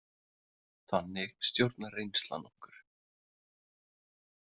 Þannig stjórnar reynslan okkur.